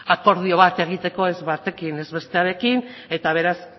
akordio bat egiteko ez batekin ez bestearekin eta beraz